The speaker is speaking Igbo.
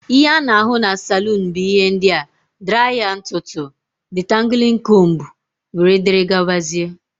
Ihe ana ahụ n' salun bu ihe ndia: draya ntụtụ ,ditanguling combú wdg.